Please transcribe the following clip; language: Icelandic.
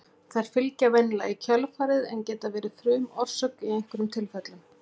þær fylgja venjulega í kjölfarið en geta verið frumorsök í einhverjum tilfellum